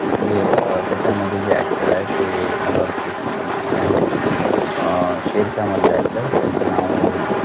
जे अं त्याच्यामध्ये जे actor आहे, ते मला वाटते त्यांचे नाव आहे, अं शेरशहामधले actor त्यांचे नावं